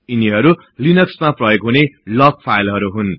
यिनीहरु लिनक्समा प्रयोग हुने लग फाईलहरु हुन्